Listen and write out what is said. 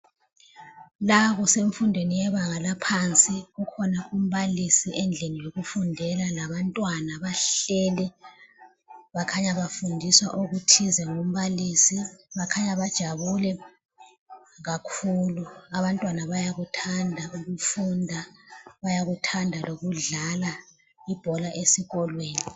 La kusemfundweni yebanga laphansi, kukhona umbalisi endlini yokufundela labantwana bahleli. Bakhanya bafundiswa okuthize ngumbalisi Bakhanya bajabule kakhulu. Abantwana bayakuthanda ukufunda, bayakuthanda lokudlala ibhola esikolweni.